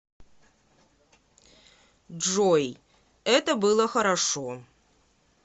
джой это было хорошо